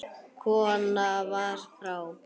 Konan var frá